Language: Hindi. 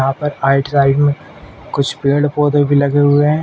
यहाँ पर आइट साइड में कुछ पेड़-पौधे भी लगे हुए हैं।